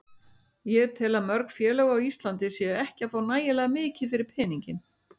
Ég tel að mörg félög á Íslandi séu ekki að fá nægilega mikið fyrir peninginn.